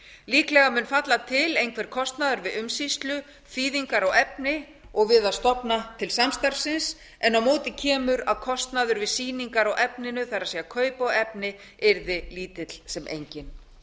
líklega mun falla til einhver kostnaður við umsýslu þýðingu á efni og við að stofna til samstarfsins en á móti kemur að kostnaður við sýningar á efninu það er kaup á efni yrði lítill sem enginn